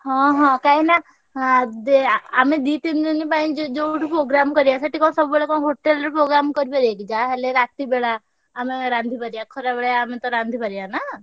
ହଁ ହଁ କାହିଁକିନା ଆଁ ଦେ ଆମେ ଦି ତିନି ଦିନି ପାଇଁ ଜ ଯୋଉଠି programme କରିଆ ସେଠି କଣ ସବୁବେଳେ କଣ hotel ରେ programme କରିପାରିଆକି ଯାହା ହେଲେ ରାତିବେଳା ଆମେ ରାନ୍ଧି ପାରିଆ ଖରାବେଳେ ଆମେତ ରାନ୍ଧି ପାରିଆ ନା।